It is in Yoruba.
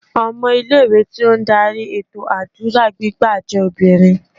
Ọmọ ilé ìwé tí ó ń darí ètò àdúrà gbígbà jẹ́ obìnrin.